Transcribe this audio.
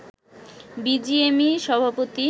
BGMEA সভাপতি